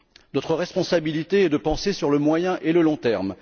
Notre responsabilité est de penser sur le moyen et le long terme.